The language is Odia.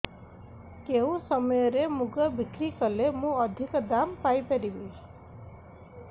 କେଉଁ ସମୟରେ ମୁଗ ବିକ୍ରି କଲେ ମୁଁ ଅଧିକ ଦାମ୍ ପାଇ ପାରିବି